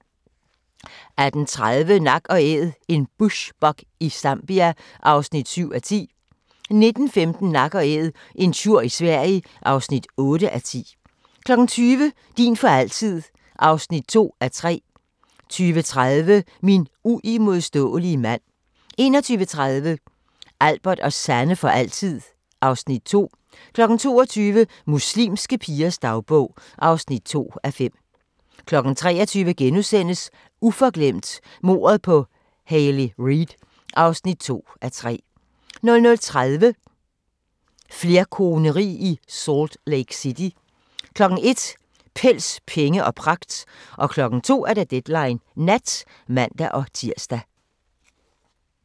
18:30: Nak & Æd – en bushbuck i Zambia (7:10) 19:15: Nak & Æd – en tjur i Sverige (8:10) 20:00: Din for altid (2:3) 20:30: Min uimodståelige mand 21:30: Albert og Sanne for altid (Afs. 2) 22:00: Muslimske pigers dagbog (2:5) 23:00: Uforglemt: Mordet på Hayley Reid (2:3)* 00:30: Flerkoneri i Salt Lake City 01:00: Pels, penge og pragt 02:00: Deadline Nat (man-tir)